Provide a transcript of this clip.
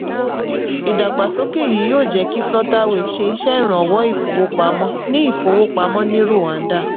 ìdàgbàsókè yìí yóò jẹ́ kí cs] flutterwave ṣe iṣẹ́ ìrànwọ́ ìfowópamọ́ ní ìfowópamọ́ ní rwanda.